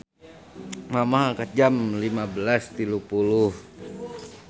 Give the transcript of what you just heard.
Mamah angkat jam 15.30